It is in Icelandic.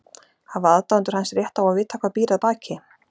Hafa aðdáendur hans rétt á að vita hvað býr að baki?